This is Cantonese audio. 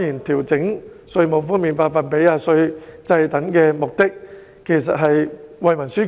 調整稅務寬減的百分比及稅制，目的當然是惠民紓困。